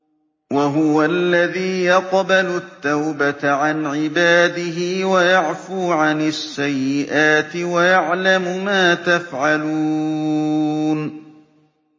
وَهُوَ الَّذِي يَقْبَلُ التَّوْبَةَ عَنْ عِبَادِهِ وَيَعْفُو عَنِ السَّيِّئَاتِ وَيَعْلَمُ مَا تَفْعَلُونَ